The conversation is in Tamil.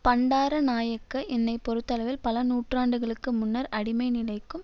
பண்டாரநாயக்க என்னை பொறுத்தளவில் பல நூற்றாண்டுகளுக்கு முன்னர் அடிமைநிலைக்கும்